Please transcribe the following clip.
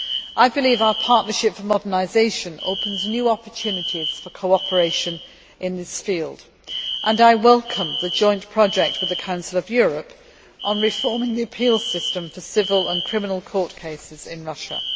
I believe our Partnership for Modernisation opens new opportunities for cooperation in this field, and I welcome the joint project with the Council of Europe on reforming the appeal system for civil and criminal court cases in Russia.